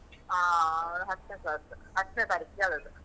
ಹಾ, ಅವನು ಹತ್ತ್ನೇ class ಸು, ಹತ್ತ್ನೇ ತಾರೀಖಿಗಾದದ್ದು.